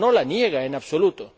No la niega en absoluto.